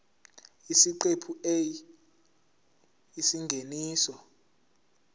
isiqephu a isingeniso